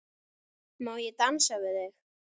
Má ég dansa við þig?